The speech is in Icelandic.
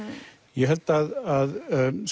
ég held að